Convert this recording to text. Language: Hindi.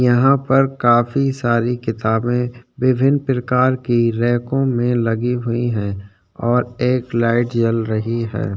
यहाँ पर काफी सारी किताबें विभिन प्रकार की रेको में लगी हुई हैं और एक लाइट जल रही है।